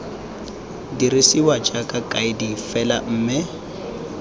dirisiwa jaaka kaedi fela mme